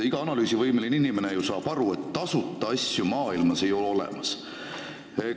Iga analüüsivõimeline inimene saab ju aru, et tasuta asju ei ole maailmas olemas.